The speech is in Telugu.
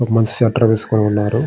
ఒక మనిషి స్వీటెర్ వేసుకొని ఉన్నారు.